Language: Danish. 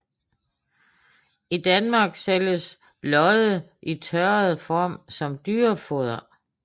I Danmark sælges lodde i tørret form som dyrefoder